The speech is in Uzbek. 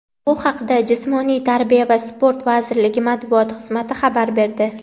Bu haqda Jismoniy tarbiya va sport vazirligi Matbuot xizmati xabar berdi.